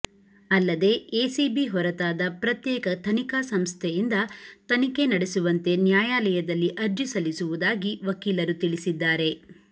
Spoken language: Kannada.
ಅಲ್ಲದೇ ಎಸಿಬಿ ಹೊರತಾದ ಪ್ರತ್ಯೇಕ ತನಿಖಾ ಸಂಸ್ಥೆಯಿಂದ ತನಿಖೆ ನಡೆಸುವಂತೆ ನ್ಯಾಯಾಲದಲ್ಲಿ ಅರ್ಜಿ ಸಲ್ಲಿಸುವುದಾಗಿ ವಕೀಲರು ತಿಳಿಸಿದ್ದಾರೆ